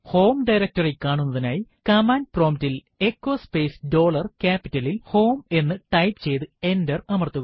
home directory കാണുന്നതിനായി command prompt ൽ echo space dollar ക്യാപിറ്റലിൽ h o m ഇ എന്ന് ടൈപ്പ് ചെയ്തു എന്റർ അമർത്തുക